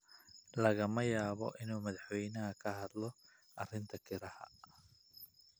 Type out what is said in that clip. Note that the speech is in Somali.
lagama yaabo in madaxweynuhu ka hadlo arrinta kirada.